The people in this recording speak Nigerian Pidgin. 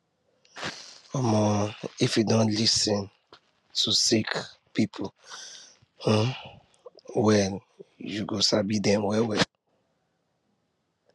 um if you don lis ten to sick persin um well you go sabi dem well well